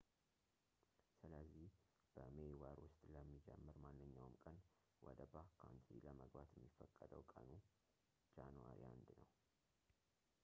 ስለዚህ፣ በሜይ ወር ውስጥ ለሚጀምር ማንኛውም ቀን ወደbackcountry ለመግባት የሚፈቀደው ቀን ጃኑዋሪ 1 ነው